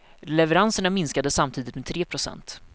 Leveranserna minskade samtidigt med tre procent.